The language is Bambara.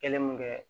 Kelen mun kɛ